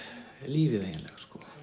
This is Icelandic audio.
lífið eiginlega